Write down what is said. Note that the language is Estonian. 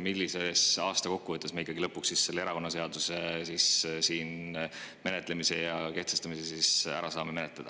millisel aastal me kokkuvõttes lõpuks selle erakonnaseaduse menetlemise ja kehtestamise ära saame teha.